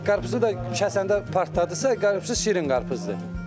Qarpızı da kəsəndə partladısa, qarpızı şirin qarpızdır.